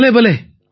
பலே பலே